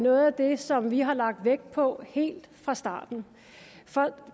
noget af det som vi har lagt vægt på helt fra starten for